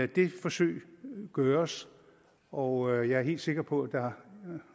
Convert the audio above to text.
det forsøg gøres og jeg er helt sikker på at der